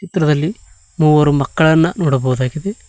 ಈ ಚಿತ್ರದಲ್ಲಿ ಮೂವರು ಮಕ್ಕಳನ್ನ ನೋಡಬಹುದಾಗಿದೆ.